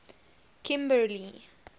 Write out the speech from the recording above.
kimberly